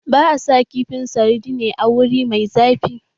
Ba a sa kifin sardine a wuri mai zafi.